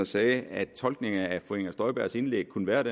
sagde at en tolkning af fru inger støjbergs indlæg kunne være at